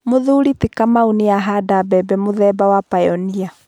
Mũthuri ti Kamau nĩ ahanda mbembe mũthemba wa Pioneer.